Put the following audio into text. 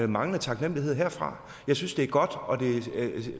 manglende taknemlighed herfra jeg synes det er godt